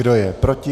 Kdo je proti?